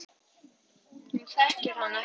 Hún þekkir hann ekki.